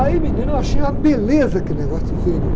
Aí, menina, eu achei uma beleza aquele negócio de vênia.